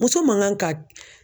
Muso man kan ka